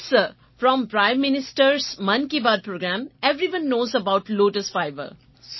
yes sir from prime minister Mann Ki Baat programme everyone knows about lotus fibre